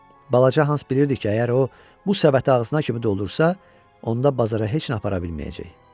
Balaca Hans bilirdi ki, əgər o bu səbəti ağzına kimi doldursa, onda bazara heç nə apara bilməyəcək.